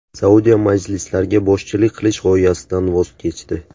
Saudiya masjidlarga boshchilik qilish g‘oyasidan voz kechdi.